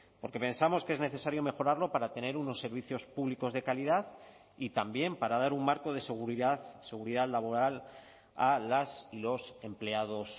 porque pensamos que es necesario mejorarlo para tener unos servicios públicos de calidad y también para dar un marco de seguridad seguridad laboral a las y los empleados